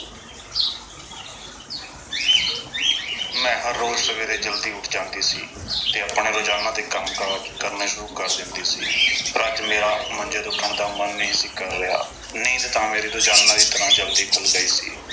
ਮੈਂ ਰੋਜ਼੍ਹ ਸਵੇਰੇ ਜਲਦੀ ਉੱਠ ਜਾਂਦੀ ਸੀ ਤੇ ਆਪਣੇ ਰੋਜ਼ਾਨਾ ਦੇ ਕੰਮਕਾਜ ਕਰਨੇ ਸ਼ੁਰੂ ਕਰ ਦਿੰਦੀ ਸੀ। ਪਰ ਅੱਜ ਮੇਰਾ ਮੰਜੇ ਤੋਂ ਉੱਠਣ ਨੂੰ ਮਨ ਨਹੀਂ ਸੀ ਕਰ ਰਿਹਾ। ਨੀਂਦ ਤਾਂ ਮੇਰੀ ਰੋਜ਼ਾਨਾ ਦੀ ਤਰ੍ਹਾਂ ਜਲਦੀ ਖੁੱਲ੍ਹ ਗਈ ਸੀ।